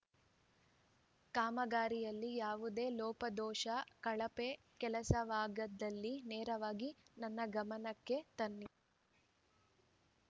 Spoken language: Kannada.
ಕಾಮಗಾರಿಯಲ್ಲಿ ಯಾವುದೇ ಲೋಪದೋಷ ಕಳಪೆ ಕೆಲಸವಾಗಿದ್ದಲ್ಲಿ ನೇರವಾಗಿ ನನ್ನ ಗಮನಕ್ಕೆ ತನ್ನಿ